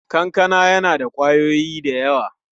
Kankana yana da ƙwayoyi da yawa.